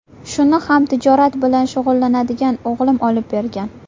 Shuni ham tijorat bilan shug‘ullanadigan o‘g‘lim olib bergan.